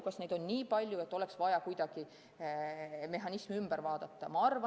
Kas neid on nii palju, et oleks vaja kuidagi mehhanismi üle vaadata?